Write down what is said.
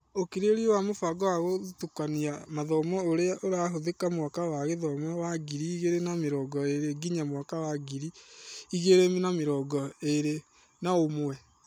ũkirĩrĩria wa mũbango wa gũtukania mathomo ũrĩa ũrahũthĩka mwaka wa gĩthomo wa ngiri igĩrĩ na mĩrongo-ĩrĩ nginya mwaka wa ngiri igĩrĩ na mĩrongo-ĩrĩ naũmwe.